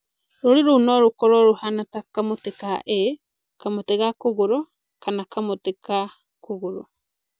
Rũũri rũu no rũkorũo rũhaana ta kamũtĩ ka ĩĩ (✓), kamũtĩ ka kũgũrũ (⁇), kana kamũtĩ ka kũgũrũ.